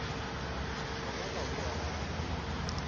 ba ba ba boa ba